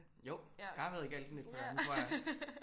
Jo jeg har været i Galten et par gange tror jeg